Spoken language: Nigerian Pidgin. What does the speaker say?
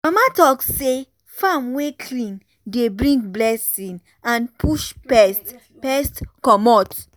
mama talk say farm wey clean dey bring blessing and push pest pest commot.